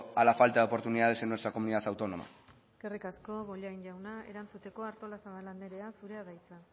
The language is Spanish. a la falta de oportunidades en nuestra comunidad autónoma eskerrik asko bollain jauna erantzuteko artolazabal andrea zurea da hitza